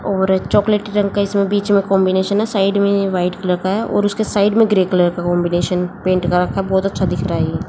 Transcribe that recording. और चॉकलेट रंग का इसमें बीच में कॉन्बिनेशन है साइड में व्हाइट कलर का है और उसके साइड में ग्रे कलर का कांबिनेशन पैंट का रखा बहोत अच्छा दिख रहा ये--